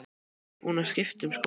Ég er búin að skipta um skoðun.